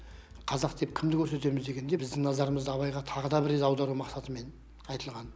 қазақ деп кімді көрсетеміз дегенде біздің назарымызды абайға тағы да бір рет аудару мақсатымен айтылған